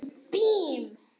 Ég mun aldrei geta það.